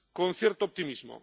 con cierto optimismo.